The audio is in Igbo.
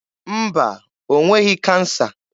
Mba, o nweghị kansa.